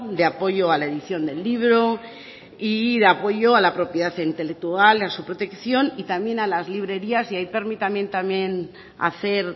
de apoyo a la edición de libro y de apoyo a la propiedad intelectual a su protección y también a las librerías y ahí permítanme también hacer